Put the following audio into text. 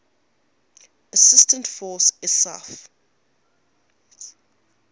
assistance force isaf